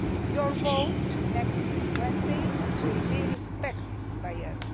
Your vote next Wednesday will be respected by us.